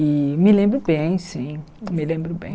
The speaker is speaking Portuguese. E me lembro bem, sim, me lembro bem.